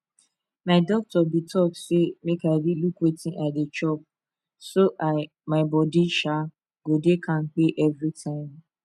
my doctor been talk say make i dey look wetin i dey chop so i my body um go dey kampe every time